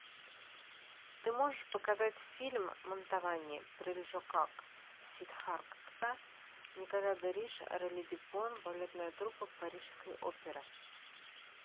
ты можешь показать фильм мантовани прельжокак сиддхартха николя де риш орели дюпон балетная труппа парижской оперы